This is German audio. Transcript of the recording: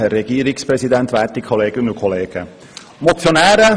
Die Motionäre und Motionärinnen haben Recht.